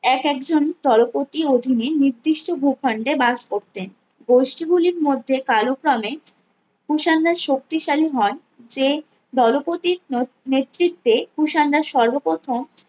এক একজন দলপতি অধীনে নির্দিষ্ট ভূখণ্ডে বাস করতেন গোষ্ঠী গুলির মধ্যে কালক্রমে কুষাণরা শক্তিশালী হন যে দলপতির নত নেতৃত্বে কুষানরা সর্বপ্রথম